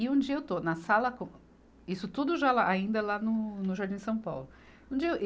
E um dia eu estou na sala com, isso tudo já lá, ainda lá no, no Jardim São Paulo. Um dia eu